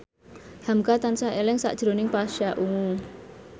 hamka tansah eling sakjroning Pasha Ungu